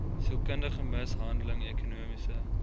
sielkundige mishandeling ekonomiese